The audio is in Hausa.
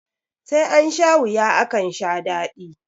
Sai ansha wuya akansha daɗi.